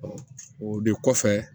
o de kɔfɛ